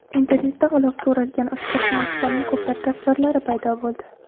Internetda g‘ilofga o‘ralgan ushbu smartfonning ko‘plab tasvirlari paydo bo‘ldi.